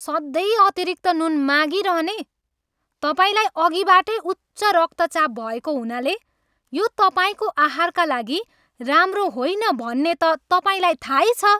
सधैँ अतिरिक्त नुन मागिरहने! तपाईँलाई अघिबाटै उच्च रक्तचाप भएको हुनाले यो तपाईँको आहारका लागि राम्रो होइन भन्ने त तपाईँलाई थाहै छ।